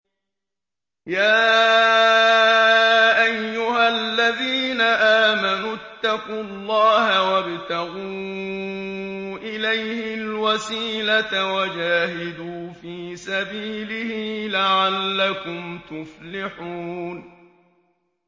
يَا أَيُّهَا الَّذِينَ آمَنُوا اتَّقُوا اللَّهَ وَابْتَغُوا إِلَيْهِ الْوَسِيلَةَ وَجَاهِدُوا فِي سَبِيلِهِ لَعَلَّكُمْ تُفْلِحُونَ